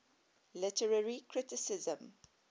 literary criticism